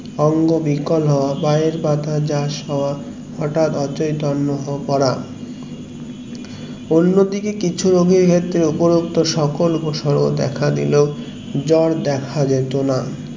অঙ্গ বিকল হওয়া পায়ের পাতা যাস হওয়া হটাৎ ও চৈতন্য হয়ে পড়া অন্য দিকে কিছু সকল উপসর্গ দেখা দিলো জোর দেখা যেত না